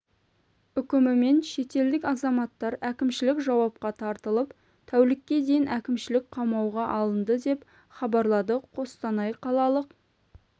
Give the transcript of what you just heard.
үкімімен шетелдік азаматтар әкімшілік жауапқа тартылып тәулікке дейін әкмішілік қамауға алынды деп хабарлады қостанай қалалық